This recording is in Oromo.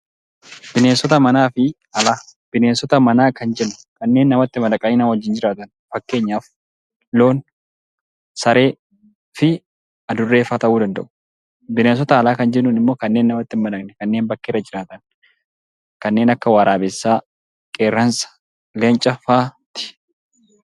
Bineensota alaa fi manaa Bineensota manaa manaa kan jennu, kanneen namatti madaqanii nama wajjin jiraatan, fakkeenyaaf loon saree fi adurree fa'aa ta'uu danda'u. Bineensota alaa kan jennuun immoo kanneen namatti hin madaqne, kanneen akka waraabessaaa, qeeransa leenca fa'aati.